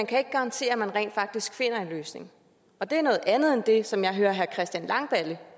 kan garantere at man rent faktisk finder en løsning og det er noget andet end det som jeg hører herre christian langballe